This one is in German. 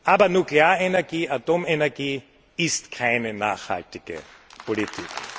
Aber Nuklearenergie, Atomenergie ist keine nachhaltige Politik.